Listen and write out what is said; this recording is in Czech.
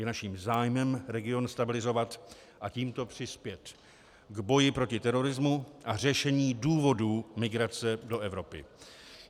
Je naším zájmem region stabilizovat a tímto přispět k boji proti terorismu a řešení důvodů migrace do Evropy.